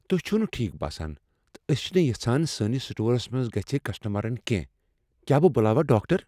تُہۍ چِھو نہٕ ٹھیک باسان تہٕ ٲسۍ چِھنہٕ یژھان سٲنس سٹورس منٛز گژِھہٕ کسٹمرن کینٛہہ، کیا بہٕ بلاوا ڈاکٹر ؟